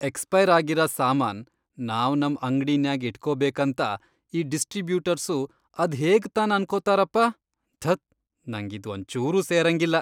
Expire ಆಗಿರ ಸಾಮಾನ್ ನಾವ್ ನಮ್ ಅಂಗ್ಡಿನ್ಯಾಗ್ ಇಟ್ಕೋಬೇಕಂತ ಈ ಡಿಸ್ಟ್ರಿಬ್ಯೂಟರ್ಸು ಅದ್ಹೇಗನ ಅನ್ಕೊತಾರಪ, ಧತ್! ನಂಗ್ ಇದ್ವಂಚೂರೂ ಸೇರಂಗಿಲ್ಲ.